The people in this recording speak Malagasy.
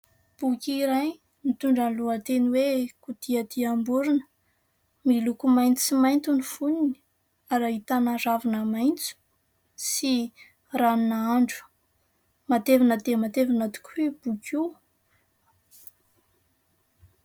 Boky iray nitondra ny lohateny hoe kodiadiam-borina . Miloko maitso sy mainty ny foniny ary hahitana ravina maintso sy ranona andro matevina dia matevina tokoa io boky io.